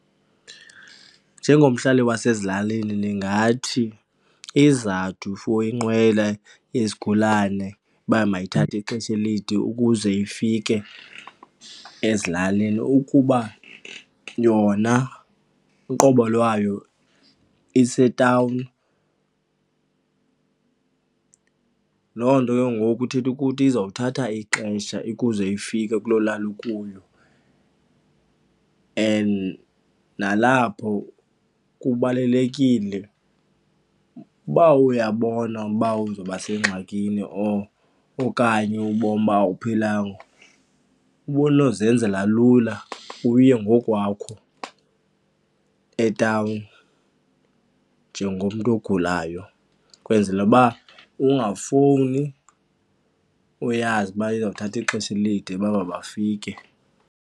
Njengomhlali wasezilalini ndingathi izizathu for inqwela yezigulane uba mayithathwe ixesha elide ukuze ifike ezilalini ukuba yona uqobo lwayo isetawuni. Loo nto ke ngoku ithetha ukuthi izawuthatha ixesha ukuze ifike kuloo lali ukuyo and nalapho kubalulekile, uba uyabona uba uzawuba sengxakini or okanye ubona uba awuphilanga, ubunozenzela lula uye ngokwakho etawuni njengomntu ogulayo. Kwenzela uba ungafowuni uyazi uba izawuthatha ixesha elide uba mabafike.